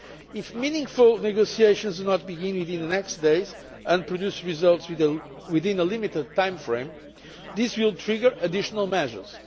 If meaningful negotiations do not begin within the next few days and produce results within a limited time frame, this will trigger additional measures.